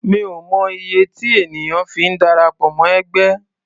Mi ò mọ iye tí ènìyàn fi ń darapọ̀ mọ́ ẹgbẹ́.